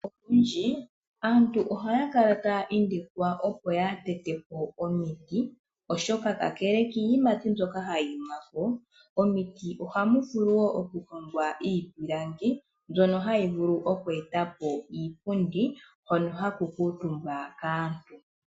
Olundji aantu ohaya kala taya indikwa opo kaaya tete po omiti oshoka kakele kiiyimati mbyoka hadhi imi. Momiti ohamu vulu oku hongwa iipilangi mbyono hayi vulu oku etapo iipundi hono haku kuutumbwa kaantu.